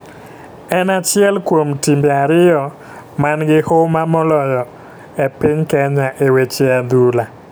en achiel kuom timbe ariyo man gi huma moloyo e piny Kenya e weche adhula